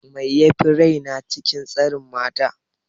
Mai yafi raina? cin tsiren mata.